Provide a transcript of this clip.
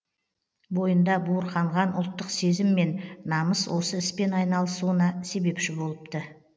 бойында буырқанған ұлттық сезім мен намыс осы іспен айналысуына себепші болыпты